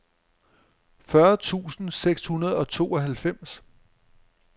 fyrre tusind seks hundrede og tooghalvfems